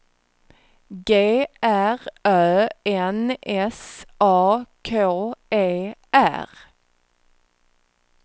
G R Ö N S A K E R